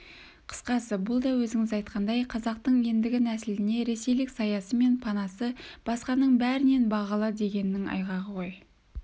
қысқасы бұл да өзіңіз айтқандай қазақтың ендігі нәсіліне ресейлік саясы мен панасы басқаның бәрінен бағалы дегеннің айғағы ғой